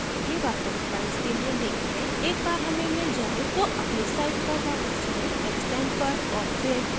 एक बार हमें मिल जाये तो अपनी site पर वापस आएं extend पर और फिर install new module पर click करें